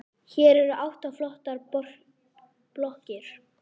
Hér eru átta flottar blokkir.